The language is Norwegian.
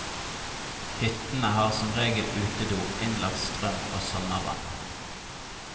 Hyttene har som regel utedo, innlagt strøm og sommervann.